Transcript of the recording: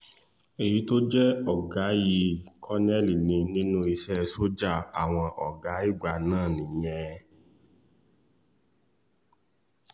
èyí tó jẹ́ ọ̀gá yìí kọ̀nẹ́ẹ̀lì ní nínú iṣẹ́ sójà àwọn ọ̀gá ìgbà náà nìyẹn